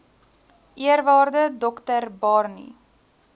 eerwaarde dr barney